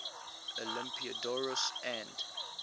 olympiodoros and